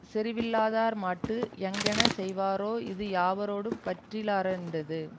செறிவில்லாதார் மாட்டு யாங்ஙனஞ் செய்வாரோ இது யாவரோடும் பற்றிலரென்றது